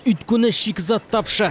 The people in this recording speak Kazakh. өйткені шикізат тапшы